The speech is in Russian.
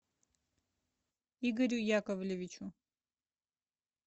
игорю яковлевичу